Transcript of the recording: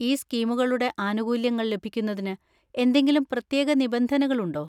ഈ സ്കീമുകളുടെ ആനുകൂല്യങ്ങൾ ലഭിക്കുന്നതിന് എന്തെങ്കിലും പ്രത്യേക നിബന്ധനകൾ ഉണ്ടോ?